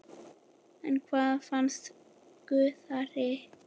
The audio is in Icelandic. En hvað fannst Gunnari?